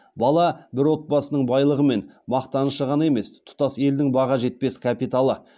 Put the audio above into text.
бала бір отбасының байлығы мен мақтанышы ғана емес тұтас елдің баға жетпес капиталы